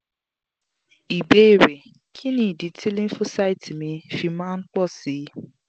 ìbéèrè: kí nì idí tí lymphocyte mi fi máa ń pọ̀ sí i?